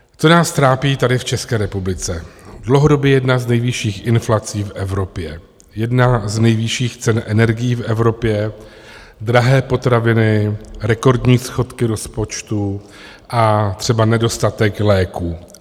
Co nás trápí tady v České republice dlouhodobě - jedna z nejvyšších inflací v Evropě, jedna z nejvyšších cen energií v Evropě, drahé potraviny, rekordní schodky rozpočtu a třeba nedostatek léků.